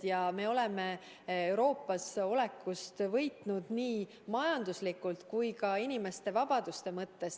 Ja me oleme Euroopas olekust võitnud nii majanduslikult kui ka inimeste vabaduste mõttes.